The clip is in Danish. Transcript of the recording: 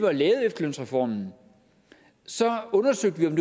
og lavede efterlønsreformen undersøgte vi om